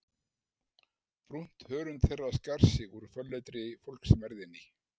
Brúnt hörund þeirra skar sig úr fölleitri fólksmergðinni.